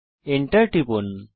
Enter টিপুন